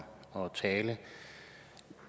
og tale